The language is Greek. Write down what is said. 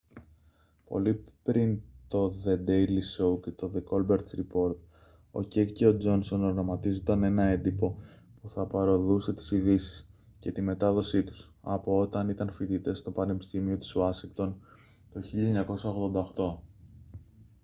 πολύ πριν το δε ντέιλι σόου και το δε κόλμπερτ ριπόρτ ο κεκ και ο τζόνσον οραματίζονταν ένα έντυπο που θα παρωδούσε τις ειδήσεις και τη μετάδοσή τους από όταν ήταν φοιτητές στο πανεπιστήμιο της ουάσιγκτον το 1988